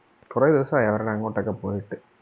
കൊറേ ദിവസം ആയി അവരടെ അങ്ങോട്ട് ഒക്കെ പോയിട്ട്.